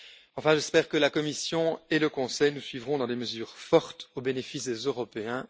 Enfin, j'espère que la Commission et le Conseil nous suivront dans des mesures fortes au bénéfice des Européens.